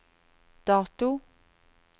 dato